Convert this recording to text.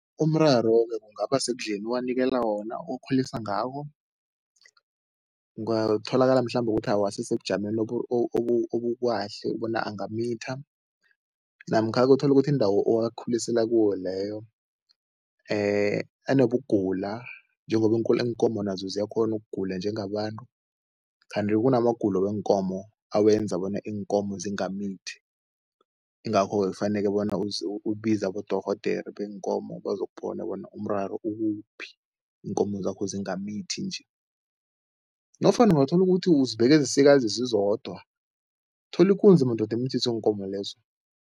Umraro-ke kungaba sekudleni owanikela wona, okhulisa ngawo. Ungatholakala mhlambe ukuthi awasisebujameni obukahle bona angamitha namkha-ke uthole ukuthi indawo owakhulisela kuwo leyo anobugula njengoba iinkomo nazo ziyakghona ukugula njengabantu kanti kunamagulo weenkomo awenza bona iinkomo zingamithi, ingakho-ke kufanele bona ubize abodorhodere beenkomo bazokubona bona umraro ukuphi, iinkomo zakho zingamithi nje nofana ungathola ukuthi uzibeke ezisikazi zizodwa, thola ikunzi madoda imithise iinkomo lezo.